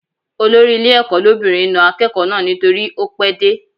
Olórí ilé ẹ̀kọ́ lóbìnrin na akẹ́kọ̀ọ́ náà nítorí ó pẹ́ dé